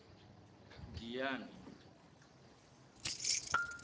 giyane